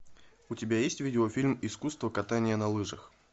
у тебя есть видеофильм искусство катания на лыжах